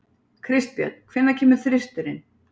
Kristbjörn, hvenær kemur þristurinn?